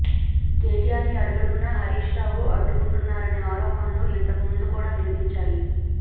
కెటిఆర్ని అడుడగుడునా హరీష్రావు అడ్డుకుంటున్నారనే ఆరోపణలు ఇంతకు ముందు కూడా వినిపించాయి